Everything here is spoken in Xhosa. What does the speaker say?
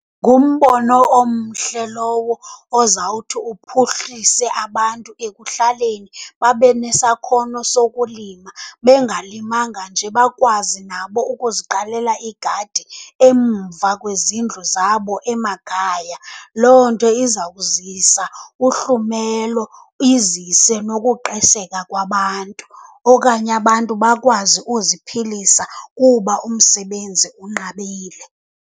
Ngumbono omhle lowo ozawuthi uphuhlise abantu ekuhlaleni babe nesakhono sokulima. Bengalimanga nje bakwazi nabo ukuziqalela iigadi emva kwezindlu zabo emakhaya. Loo nto iza kuzisa uhlumelo, izise nokuqesheka kwabantu okanye abantu bakwazi uziphilisa kuba umsebenzi unqabile.